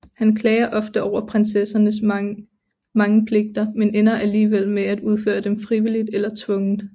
Han klager ofte over prinsessernes mange pligter men ender alligevel med at udføre dem frivilligt eller tvungent